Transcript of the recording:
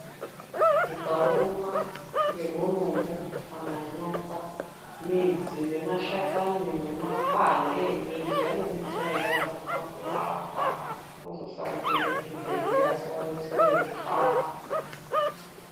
Ukarumwa ngebonombo kana nyoka, midzi nemashakani nemakwande embiti anodetsera yaambo pakurapa wozosara kuenda chibhedhlera asi wadetsereka .